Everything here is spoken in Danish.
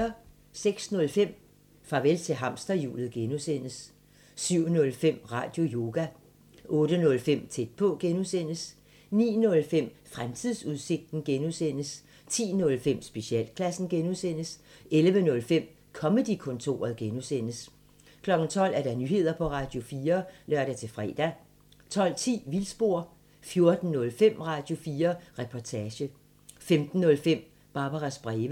06:05: Farvel til hamsterhjulet (G) 07:05: Radioyoga 08:05: Tæt på (G) 09:05: Fremtidsudsigten (G) 10:05: Specialklassen (G) 11:05: Comedy-kontoret (G) 12:00: Nyheder på Radio4 (lør-fre) 12:10: Vildspor 14:05: Radio4 Reportage 15:05: Barbaras breve